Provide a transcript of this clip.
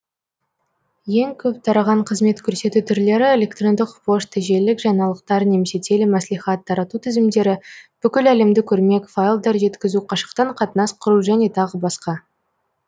ең көп тараған қызмет көрсету түрлері электрондық пошта желілік жаңалықтар немесе телемәслихат тарату тізімдері бүкіл әлемдік өрмек файлдар жеткізу қашықтан қатынас құру жөне тағы басқа